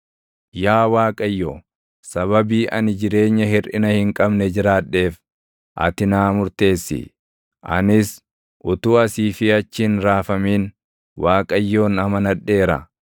Yaa Waaqayyo, sababii ani jireenya hirʼina hin qabne jiraadheef, ati naa murteessi; anis utuu asii fi achi hin raafamin, Waaqayyoon amanadheera.